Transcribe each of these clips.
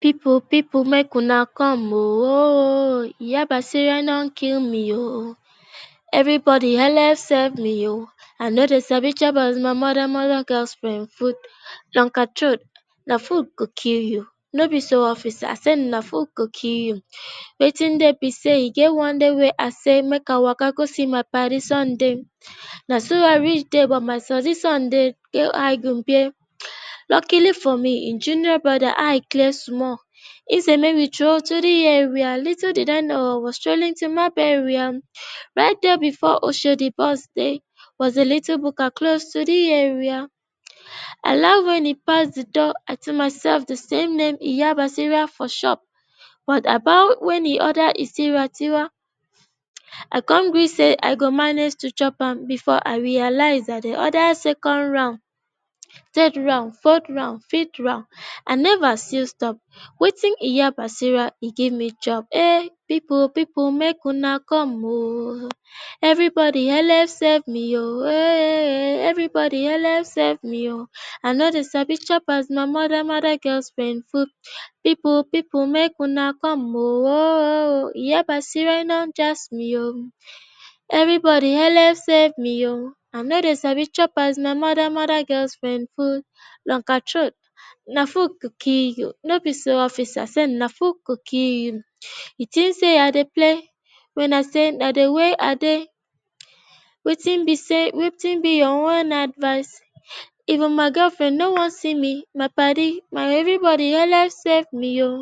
People people make una come e oh oh oh, iya basira e don kill me oooohhhh everybody helep save me oh, I no dey sabi chop my mother or my girlfriends food longer troat na food go kill you no b so oo officer I say na food go kill you, wetin dey be say e get one day, wey I say I go play go see my paddy Sunday na so I reach there but Sunday he don high on beer, luckily for me in junior brother eye e clear, so e say make we stroll through the area, little did I know was strolling to my burial right dere before Oshodi bus dey was a little buka, close to the main road. I laugh when e pass the door, I tell my sef say the name iya basira for shop but I bow when he order ati iwa I come gree say I go manage to chop am before I realize I dey order second round, third round, fourth round, fifth round I never still stop wetin Iya Basira e give me chop People people make una come e oh oh oh, everybody helep save me oh eh eh eh everybody helep save me oo, I no dey sabi chop my mother or my girlfriends food People people make una come e oh, iya basira e don jazz me oh, oh oh oh, everybody helep save me oh, I no dey sabi chop as my mother mother or my girlfriends food longer troat na food go kill u no be so officer I said na food go kill u you think say I dey play wen I sat na the way I dey wetin b say wetin b ur own advice even my girlfriend no wan see me my padi everybody helep safe me oo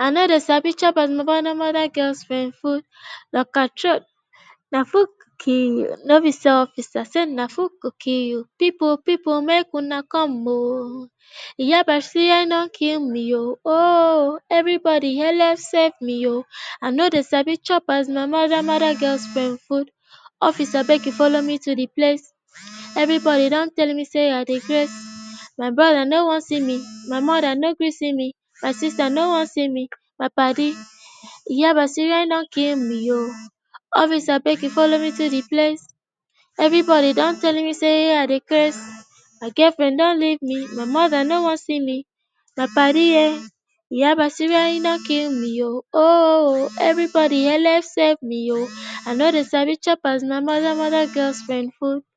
I no dey sabi chop my mother or my girlfriends food longer troat na food go kill u no be so officer I said na food go kill u you People people make una come e oh oh oh, iya basira e don kill me oooohhhheverybody helep save me oh,I no dey sabi chop my mother or my girlfriends food Officer abegi follow me to the place everybody don telle me say dey craze my brother no wan see my mother no gree see me, my sister no wan see me my paddy[um] iya basira you don kill me ooo officer abegi follow me to the place everybody don telle me say I dey craze my girlfriend don leave me my mother no wan see me my paddy ehh iya basira e don kill me oo everybody ooohhh everybody helep safe me oo I no dey sabi chop my mother or my girlfriends food.